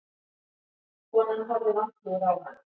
Konan horfði vantrúuð á hana.